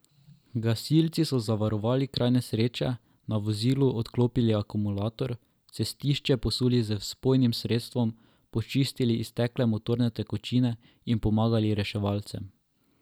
Gasilci so zavarovali kraj nesreče, na vozilu odklopili akumulator, cestišče posuli z vpojnim sredstvom, počistili iztekle motorne tekočine in pomagali reševalcem.